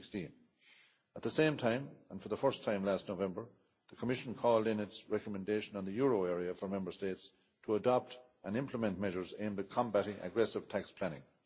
October 2016. At the same time, and for the first time, last November the Commission called, in its recommendation on the euro area, for Member States to adopt and implement measures aimed at combating aggressive tax